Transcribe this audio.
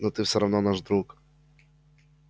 но ты всё равно наш друг